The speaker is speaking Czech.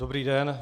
Dobrý den.